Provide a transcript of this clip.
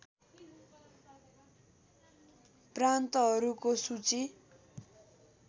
प्रान्तहरूको सूची